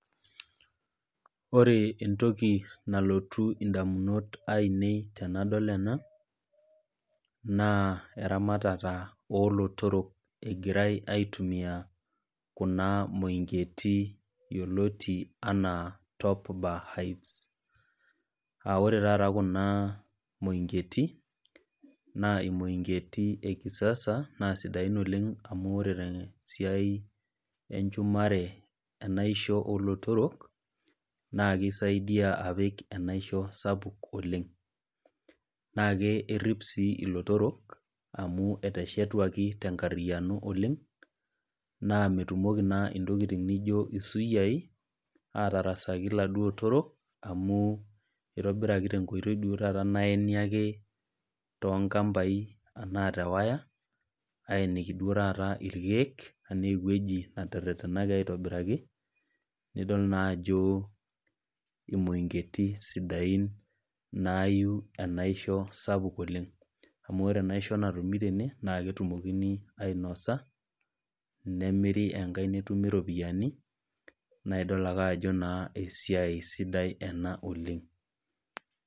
Ore entoki nalotu edamunot ainei tenadol ena naa eramatare oolotorok egirai aitumia Kuna moingitie yioloti enaa top bar hives aa oree taata Kuna moingeti naa moingeti ee kisasa naa sidain oleng amu ore tee siai enjumare enaishoo oolotorok naa keisaidia apik enaishoo sapuk oleng naa kerip sii elotorok amu eteshetuaki tenkariano oleng naa metumoki naa ntokitin naijio esuyiai atarasaki eladuo otorok amu eitobiraki tenkoitoi duo ake duo taata naene ake too nkambai naata wire eyeniki duo taata irkeek enaa ewueji natererenaki aitobiraki nidol naa ajo emoingeti sidain nayieu enaishoo sapuk oleng amu ore enaishoo natumi Tena naa ketumokini ainosa nemeri enkae metumi eropiani naidol ake Ajo esiai sidai ena oleng